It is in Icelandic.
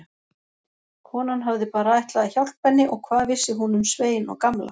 Konan hafði bara ætlað að hjálpa henni og hvað vissi hún um Svein og Gamla.